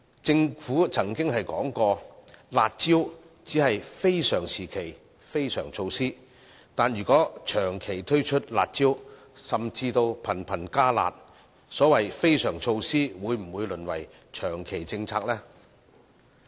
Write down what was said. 政府曾經表示，"辣招"只是非常時期的非常措施，但如果長期推出"辣招"，甚至頻頻"加辣"，所謂的非常措施會否淪為長期政策呢？